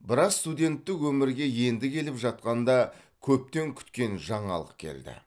бірақ студенттік өмірге енді келіп жатқанда көптен күткен жаңалық келді